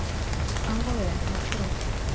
алоэ маршрут